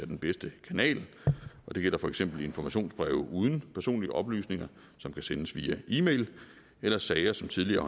den bedste kanal det gælder for eksempel informationsbreve uden personlige oplysninger som kan sendes via e mail eller sager som tidligere